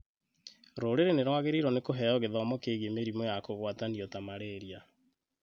Rũrĩrĩ nĩrwagĩrĩirwo nĩ kũheo gĩthomo kigiĩ mĩrimũ ya kũgwatanio ta Marĩria